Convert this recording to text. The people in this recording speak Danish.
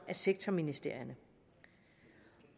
sektorministerierne